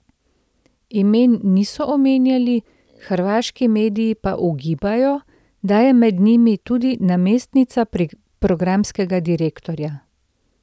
Imen niso omenjali, hrvaški mediji pa ugibajo, da je med njimi tudi namestnica programskega direktorja.